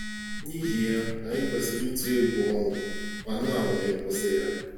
Nihi ya, anyị kwesịrị ịtụ egwu ọnwụ ma na-anwa ịkwụsị ya.